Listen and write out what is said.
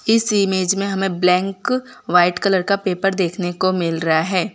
इस इमेज में हमें ब्लैंक व्हाइट कलर का पेपर देखने को मिल रहा है।